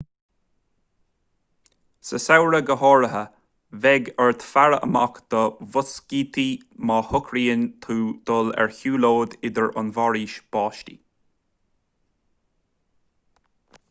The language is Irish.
sa samhradh go háirithe beidh ort faire amach do mhoscítí má shocraíonn tú dul ar shiúlóid tríd an bhforaois bháistí